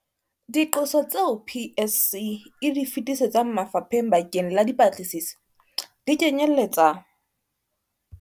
Diqoso tseo PSC e di fetisetsang mafapheng bakeng la dipatlisiso, di kenyeletsa.